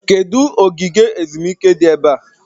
Kedụ ogige ezumike dị ebe a?